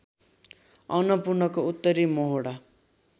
अन्नपूर्णको उत्तरी मोहोडा